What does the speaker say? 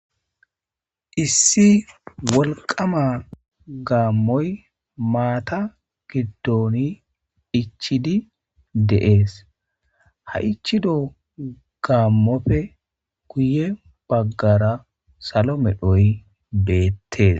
issi wolqama gaammoy maata giddoni ichidi de'ees ha ichido gaammope kuye baggara salo medhoy beettees